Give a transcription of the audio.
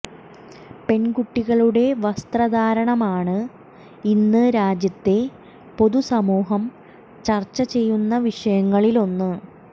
പെണ്കുട്ടികളുടെ വസ്ത്രധാരണമാണ് ഇന്ന് രാജ്യത്തെ പൊതുസമൂഹം ചര്ച്ച ചെയ്യുന്ന വിഷയങ്ങളില് ഒന്ന്